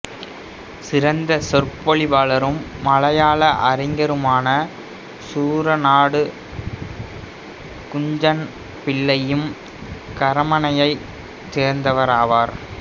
சிறந்த சொற்பொழிவாளரும் மலையாள அறிஞருமான சூரநாடு குஞ்ஞன் பிள்ளையும் கரமனையைச் சேர்ந்தவராவார்